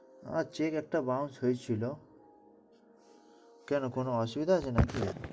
আহ check একটা bounce হয়েছিল, কেন কোন অসুবিধা আছে নাকি?